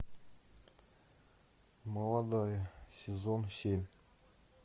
молодая сезон семь